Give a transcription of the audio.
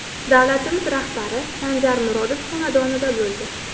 Davlatimiz rahbari Sanjar Murodov xonadonida bo‘ldi.